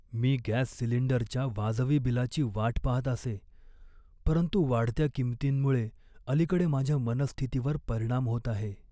मी gas सिलिंडरच्या वाजवी बिलाची वाट पाहत असे, परंतु वाढत्या किंमतींमुळे अलीकडे माझ्या मनःस्थितीवर परिणाम होत आहे.